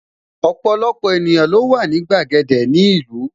Ọpọlọpọ ènìyàn ló wà ní gbàgede ni ìlú